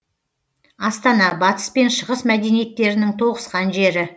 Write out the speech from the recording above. астана батыс пен шығыс мәдениеттерінің тоғысқан жері